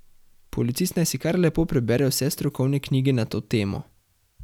Policist naj si kar lepo prebere vse strokovne knjige na to temo.